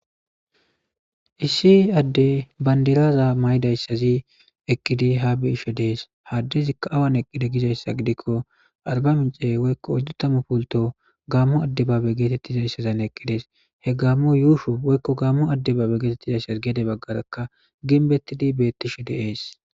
issi adde bandilaza maydayssazi eqkidi ha be ishe dees ha addizikka awan eqqide gizayssa gidikko arba mincey woykko oddu tamu pulto gaammu adde baabe geetettizayssazan eqqidees he gaammo yuusho woykko gamo adde baabe geetettizayssas geede baggarakka ginbettidi beettishe deees